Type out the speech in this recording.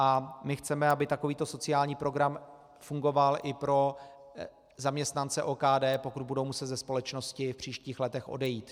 A my chceme, aby takovýto sociální program fungoval i pro zaměstnance OKD, pokud budou muset ze společnosti v příštích letech odejít.